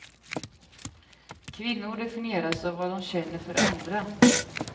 Kvinnor definieras av vad de känner för andra.